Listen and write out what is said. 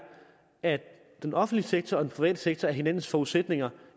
at den offentlige sektor og den private sektor er hinandens forudsætninger